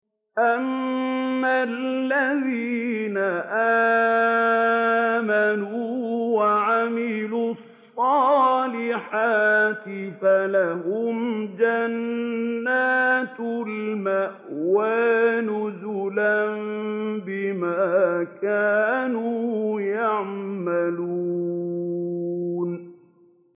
أَمَّا الَّذِينَ آمَنُوا وَعَمِلُوا الصَّالِحَاتِ فَلَهُمْ جَنَّاتُ الْمَأْوَىٰ نُزُلًا بِمَا كَانُوا يَعْمَلُونَ